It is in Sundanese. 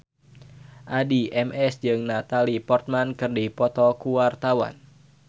Addie MS jeung Natalie Portman keur dipoto ku wartawan